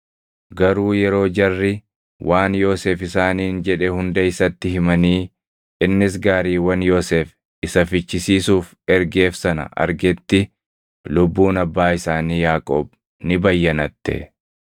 Garuu yeroo jarri waan Yoosef isaaniin jedhe hunda isatti himanii innis gaariiwwan Yoosef isa fichisiisuuf ergeef sana argetti lubbuun abbaa isaanii Yaaqoob ni bayyanatte.